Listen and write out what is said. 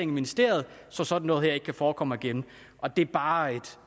ministeriet så sådan noget her ikke kan forekomme igen og det er bare et